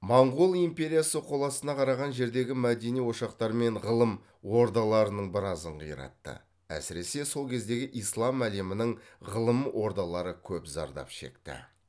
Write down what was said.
моңғол империясы қол астына қараған жердегі мәдени ошақтармен ғылым ордаларының біразын қиратты әсіресе сол кездегі ислам әлемінің ғылым ордалары көп зардап шекті